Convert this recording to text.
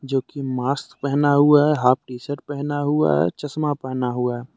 जो की मास्क पहना हुआ है हाफ टी शर्ट पहना हुआ है चश्मा पहना हुआ है।